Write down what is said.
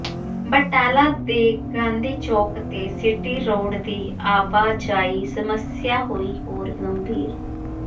ਬਟਾਲਾ ਦੇ ਗਾਂਧੀ ਚੌਕ ਤੇ city road ਦੀ ਆਵਾਜਾਈ ਸਮੱਸਿਆ ਹੋਈ ਹੋਰ ਗੰਭੀਰ